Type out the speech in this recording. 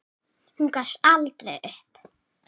Hún gafst aldrei upp.